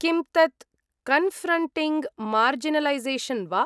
किं तत् 'confronting marginalisation' वा?